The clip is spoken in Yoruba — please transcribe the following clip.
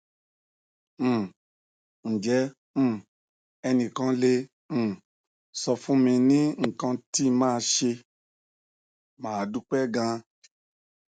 um nje um enikan le um sofun mi ni ikan ti ma se ma dupe gan